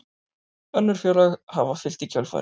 Önnur félög hafa fylgt í kjölfarið